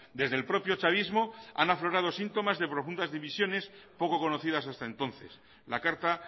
desde el propio chavismo han aflorado síntomas de profundas divisiones poco conocidas hasta entonces la carta